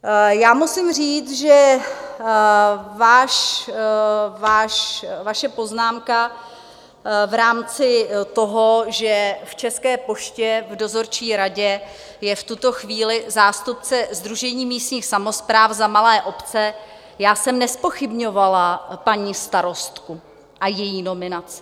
Já musím říct, že vaše poznámka v rámci toho, že v České poště v dozorčí radě je v tuto chvíli zástupce Sdružení místních samospráv za malé obce - já jsem nezpochybňovala paní starostku a její nominaci.